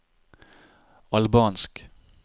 albansk